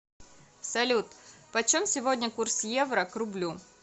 салют почем сегодня курс евро к рублю